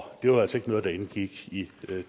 det var altså ikke noget der indgik i